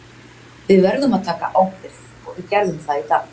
Við verðum að taka ábyrgð og við gerðum það í dag.